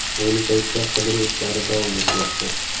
Ayni paytda qidiruv ishlari davom etmoqda.